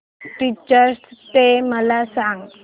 teachers day मला सांग